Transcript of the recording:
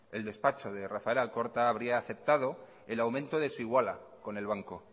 el despacho de rafael alcorta habría aceptado el aumento de su iguala con el banco